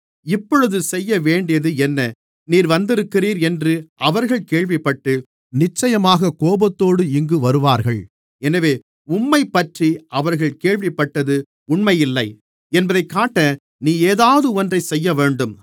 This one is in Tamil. இப்பொழுது செய்யவேண்டியது என்ன நீர் வந்திருக்கிறீர் என்று அவர்கள் கேள்விப்பட்டு நிச்சயமாகக் கோபத்தோடு இங்கு வருவார்கள் எனவே உம்மைப்பற்றி அவர்கள் கேள்விப்பட்டது உண்மையில்லை என்பதைக் காட்ட நீ ஏதாவது ஒன்றைச் செய்யவேண்டும்